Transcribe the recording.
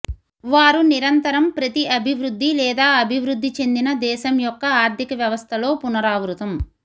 వారు నిరంతరం ప్రతి అభివృద్ధి లేదా అభివృద్ధి చెందిన దేశం యొక్క ఆర్ధిక వ్యవస్థలో పునరావృతం